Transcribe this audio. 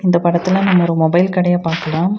இந்த படத்துல நம்ம ஒரு மொபைல் கடைய பாக்கலாம்.